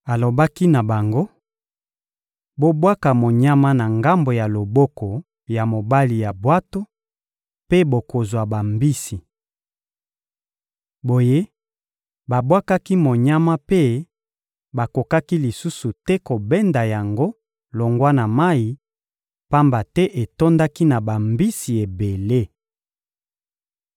Alobaki na bango: — Bobwaka monyama na ngambo ya loboko ya mobali ya bwato, mpe bokozwa bambisi. Boye, babwakaki monyama mpe bakokaki lisusu te kobenda yango longwa na mayi, pamba te etondaki na bambisi ebele.